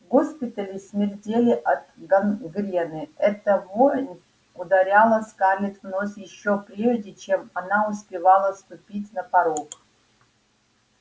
госпитали смердели от гангрены эта вонь ударяла скарлетт в нос ещё прежде чем она успевала ступить на порог